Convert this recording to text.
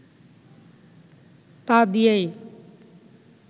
তা দিয়েই